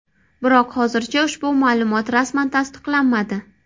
Biroq hozircha ushbu ma’lumot rasman tasdiqlanmadi.